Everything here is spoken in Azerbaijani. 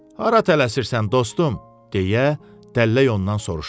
Hara tələsirsən dostum, deyə dəllək ondan soruşdu.